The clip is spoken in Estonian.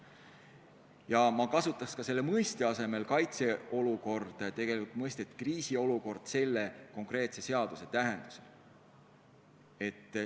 Ja ma kasutaks ka mõiste "kaitseolukord" asemel mõistet "kriisiolukord" selle konkreetse seaduseelnõu tähenduses.